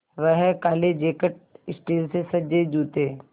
वह काले jacket steel से सजे जूते